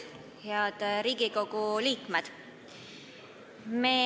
Head Riigikogu liikmed!